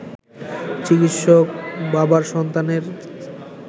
চিকিৎসক বাবার সন্তানের